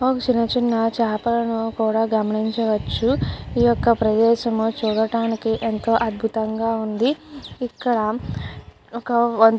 చిన్న చిన్న చేపలను కూడా గమనించవచ్చు. ఈ యొక్క ప్రదేశం చూడటానికి ఎంతో అద్భుతంగా ఉంది. ఇక్కడ ఒక --